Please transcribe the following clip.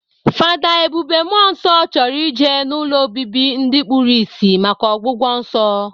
Fada Ebube Muonso chọrọ ije n'ụlọ obibi ndi kpuru isi maka ọgwụgwọ nsọ.